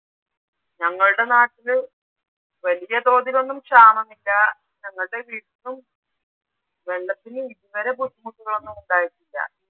ഞങ്ങളുടെ നാട്ടില് വലിയതോതിലൊന്നും ക്ഷാമമില്ല. ഞങ്ങളുടെ വീട്ടിലും വെള്ളത്തിന്‌ ഇതുവരെ ബുദ്ധിമുട്ടുകളൊന്നും ഉണ്ടായിട്ടില്ല.